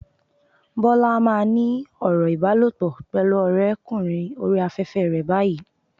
Bọ́lá á máa ní ọ̀rọ̀ ìbálòpọ̀ pẹ̀lú ọ̀rẹ́ kùnrin oríi afẹ́fẹ́ rẹ báyìí.